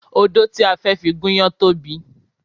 Odó ti a fẹ́ fi gúnyán tóbi